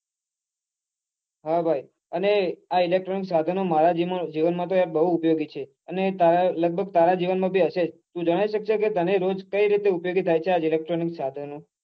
હા ભાઈ આ electronic સાધનો મારા જીવન માં તો યાર બઉ ઉપયોગી છે અને તારા લગભગ તારા જીવન માં પણ હશે જ તું જણાઈ સક્સે કે તને કેવી રીતે ઉપયોગી થાય છે આ electronic સાધનો